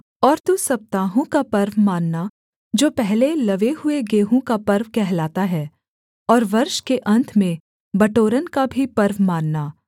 और तू सप्ताहों का पर्व मानना जो पहले लवे हुए गेहूँ का पर्व कहलाता है और वर्ष के अन्त में बटोरन का भी पर्व मानना